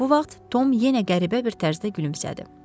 Bu vaxt Tom yenə qəribə bir tərzdə gülümsədi.